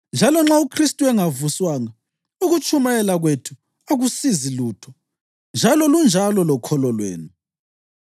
Njalo nxa uKhristu engavuswanga, ukutshumayela kwethu akusizi lutho njalo lunjalo lokholo lwenu.